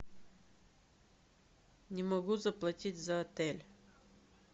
не могу заплатить за отель